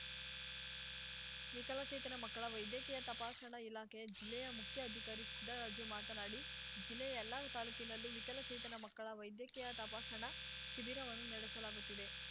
ವಿಕಲಚೇತನ ಮಕ್ಕಳ ವೈದ್ಯಕೀಯ ತಪಾಸಣಾ ಇಲಾಖೆಯ ಜಿಲ್ಲೆಯ ಮುಖ್ಯ ಅಧಿಕಾರಿ ಸಿದ್ದರಾಜು ಮಾತನಾಡಿ ಜಿಲ್ಲೆಯ ಎಲ್ಲ ತಾಲೂಕಿನಲ್ಲೂ ವಿಕಲಚೇತನ ಮಕ್ಕಳ ವೈದ್ಯಕೀಯ ತಪಾಸಣಾ ಶಿಬಿರವನ್ನು ನಡೆಸಲಾಗುತ್ತಿದೆ